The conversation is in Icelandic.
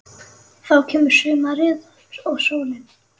Þá kemur sumarið og sólin.